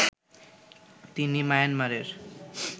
তিনি মায়ানমারের